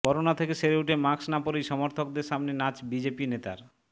corona থেকে সেরে উঠে মাস্ক না পরেই সমর্থকদের সামনে নাচ বিজেপি নেতার